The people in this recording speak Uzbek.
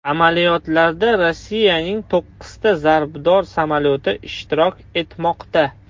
Amaliyotlarda Rossiyaning to‘qqizta zarbdor samolyoti ishtirok etmoqda.